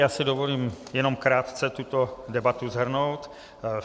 Já si dovolím jenom krátce tuto debatu shrnout.